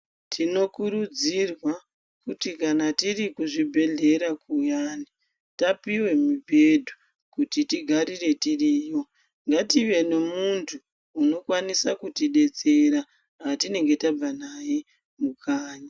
Tinokurudzirwa kuti kana tiri kuzvibhedhela kuyani, tapiwe mibhedhu kuti tigarire tiriyo, ngative nemuntu anokwanise kuti betsera, watinenge tabve naye kukanyi.